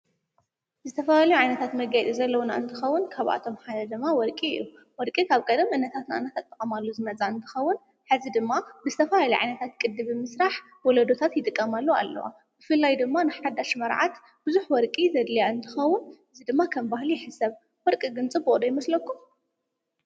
ዝተፈለላዩ ዓይነታት መጋይፂ ዘለዉና እንትኸውን ካብኣቶም ሓደ ድማ ወርቂ እዩ። ወርቂ ኻብ ቀድም እኖታት እናተጠቀማሉ ዝመፃ እንትኸዉን ሕዚ ድማ ብዝተፋለለየ ዓይነታት ቅድ ብምስራሕ ወለዶታት ይጥቀማሉ ኣለዋ። ብፊላይ ድማ ንሓዳሽ መርዓት ብዙኅ ወርቂ ዘድልያ እንትኸዉን እዝ ድማ ኸም ባህሉ ይሕሰብ። ወርቂ ግን ጽብቅ ዶ ይመስለኩም?